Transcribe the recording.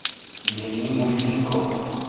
“Mening mulkim ko‘p.